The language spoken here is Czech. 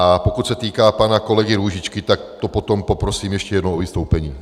A pokud se týká pana kolegy Růžičky, tak to potom poprosím ještě jednou o vystoupení.